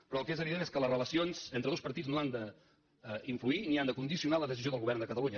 però el que és evident és que les relacions entre dos partits no han d’influir ni han de condicionar la decisió del govern de catalunya